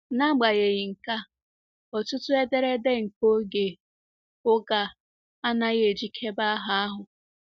N’agbanyeghị nke a, ọtụtụ ederede nke oge oge a anaghị ejikebe aha ahụ.